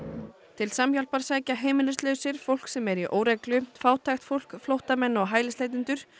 til Samhjálpar sækja heimilislausir fólk sem er í óreglu fátækt fólk flóttamenn og hælisleitendur